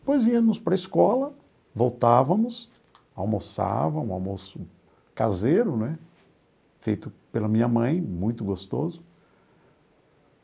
Depois íamos para a escola, voltávamos, almoçávamos, um almoço caseiro né, feito pela minha mãe, muito gostoso.